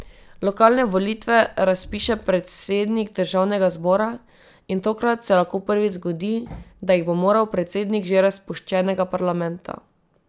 Lokalne volitve razpiše predsednik državnega zbora in tokrat se lahko prvič zgodi, da jih bo moral predsednik že razpuščenega parlamenta.